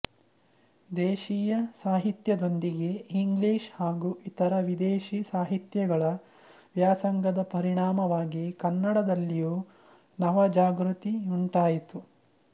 ದೇಶೀಯ ಸಾಹಿತ್ಯದೊಂದಿಗೆ ಇಂಗ್ಲಿಷ್ ಹಾಗೂ ಇತರ ವಿದೇಶೀಯ ಸಾಹಿತ್ಯಗಳ ವ್ಯಾಸಂಗದ ಪರಿಣಾಮವಾಗಿ ಕನ್ನಡದಲ್ಲಿಯೂ ನವಜಾಗೃತಿಯುಂಟಾಯಿತು